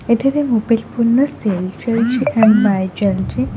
ଏଠାରେ ମୋବାଇଲ୍ ପୁରୁଣା ସେଲ ଚାଲିଛି ଏବଂ ବାୟ ଚାଲିଛି।